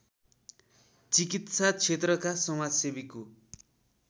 चिकित्सा क्षेत्रका समाजसेवीको